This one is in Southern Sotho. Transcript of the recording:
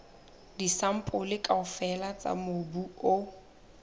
disampole kaofela tsa mobu o